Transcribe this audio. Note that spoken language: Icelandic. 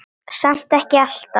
Samt ekkert alltaf.